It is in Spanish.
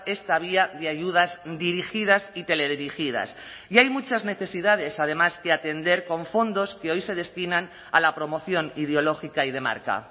esta vía de ayudas dirigidas y teledirigidas y hay muchas necesidades además que atender con fondos que hoy se destinan a la promoción ideológica y de marca